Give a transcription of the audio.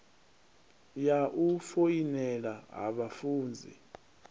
ya u foinela ha vhafunzi